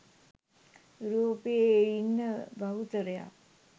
යුරෝපයේ ඉන්න බහුතරයක්